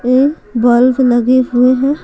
ये बल्ब लगे हुए हैं।